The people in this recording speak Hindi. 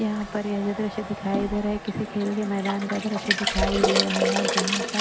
यहाँ पर ये जो दृश्य दिखाई दे रहा है किसी खेल के मैदान का दृश्य दिखाई दे रहा है जहाँ पर--